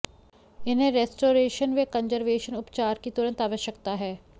इन्हें रेस्टोरेशन व कंजरवेशन उपचार की तुरंत आवश्यकता है